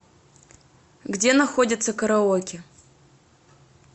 где находится караоке